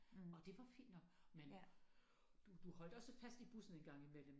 Og det var fint nok men du du holdt også fast i bussen engang imellem